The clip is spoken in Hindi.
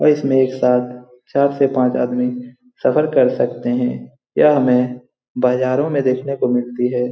और इसमें एक साथ चार से पाँच आदमी सफर कर सकते हैं। यह हमें बाजारों में देखने को मिलती है।